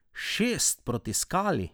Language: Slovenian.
Šest proti Skali!